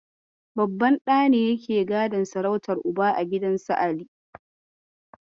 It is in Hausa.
Babban ɗa ne yake gadon sarautar Uba a gidan su Ali.